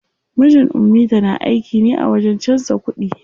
Mijin ummita na aiki ne a wajen canza kuɗi.